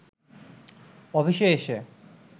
অফিসে এসে